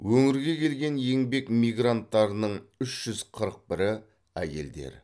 өңірге келген еңбек мигранттарының үш жүз қырық бірі әйелдер